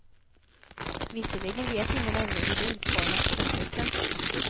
Visserligen vet ingen ännu hur det utformas i praktiken.